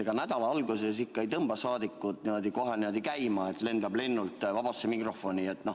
Ega nädala alguses ikka ei tõmba saadikuid kohe käima, et lendavad lennult vabasse mikrofoni.